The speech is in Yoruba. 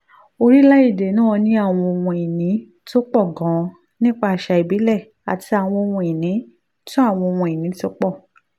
orílẹ̀-èdè náà ní àwọn ohun-ìní tó pọ̀ gan-an nípa àṣà ìbílẹ̀ àti àwọn ohun-ìní tó àwọn ohun-ìní tó pọ̀